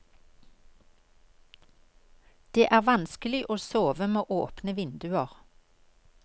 Det er vanskelig å sove med åpne vinduer.